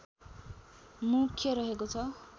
मुख्य रहेको छ